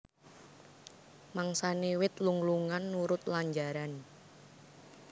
Mangsané wit lung lungan nurut lanjaran